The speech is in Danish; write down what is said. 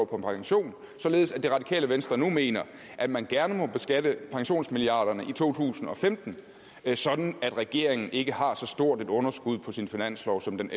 på pension således at det radikale venstre nu mener at man gerne må beskatte pensionsmilliarderne i to tusind og femten sådan at regeringen ikke har så stort et underskud på sin finanslov som den